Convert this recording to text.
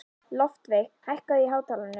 Loftveig, lækkaðu í hátalaranum.